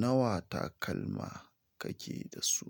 Nawa takalma kake da su?